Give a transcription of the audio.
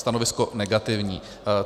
- stanovisko negativní.